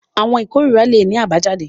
Àwọn ikorira le ní abayjade.